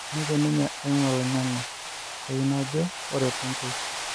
Nejo ninye eimu oloing'ange kayieu najo ore Tonkei